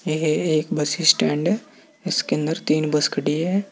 ये एक bus stand है इसके अंदर तीन बस खड़ी है।